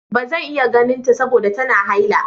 Ba zan iya ganinta saboda tana haila.